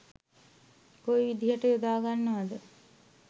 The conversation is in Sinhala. කොයි විදිහට යොදාගන්නවද